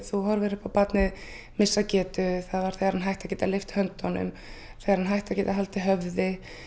þú horfir upp á barnið missa getu þegar hann hætti að geta lyft höndunum þegar hann hætti að geta haldið höfði